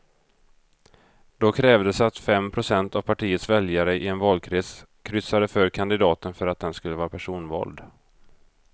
Då krävdes att fem procent av partiets väljare i en valkrets kryssade för kandidaten för att den skulle vara personvald.